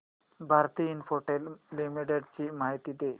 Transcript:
Bharti Infratel limited ची माहिती दे